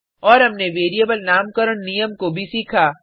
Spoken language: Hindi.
और हमनें वेरिएबल नामकरण नियम को भी सीखा